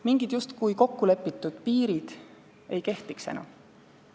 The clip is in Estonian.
Mingid justkui kokku lepitud piirid ei kehtiks enam.